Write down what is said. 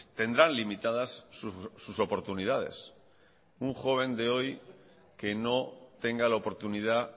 tendrán limitadas sus oportunidades un joven de hoy que no tenga la oportunidad